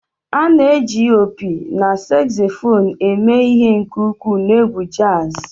A na-eji opi na saxophone eme ihe nke ukwuu na egwu jazz